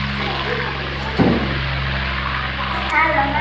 Stuttu eftir að við mamma og Vésteinn yngri fórum heim.